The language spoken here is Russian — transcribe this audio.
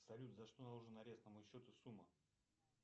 салют за что наложен арест на мой счет и сумма